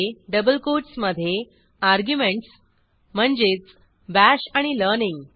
double कोटसमधे arguments म्हणजेच bash आणि लर्निंग